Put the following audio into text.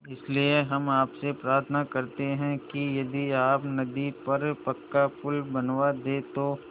इसलिए हम आपसे प्रार्थना करते हैं कि यदि आप नदी पर पक्का पुल बनवा दे तो